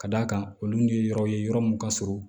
Ka d'a kan olu ye yɔrɔ ye yɔrɔ min ka surun